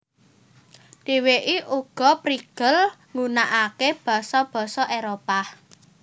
Dheweke uga prigel nggunakake basa basa Éropah